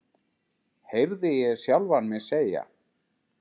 heyrði ég sjálfan mig segja.